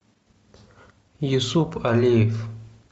юсуп алиев